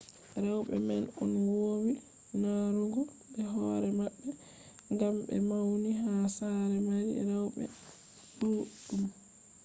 rewɓe man on wowi narrugo be hoore maɓɓe ngam ɓe mauni ha saare mari rewɓe ɗuɗɗum